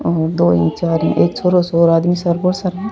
और दो री जारी एक छोरो --